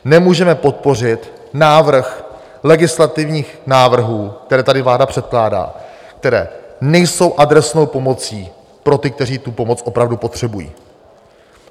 Nemůžeme podpořit návrh legislativních návrhů, které tady vláda předkládá, které nejsou adresnou pomocí pro ty, kteří tu pomoc opravdu potřebují.